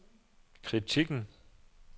kritikken